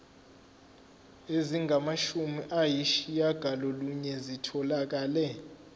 ezingamashumi ayishiyagalolunye zitholakele